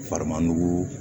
Fariman nugu